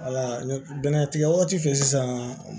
bɛnɛ tigɛ waati fɛ sisan